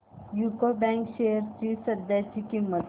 UCO bank shares ची सध्याची किंमत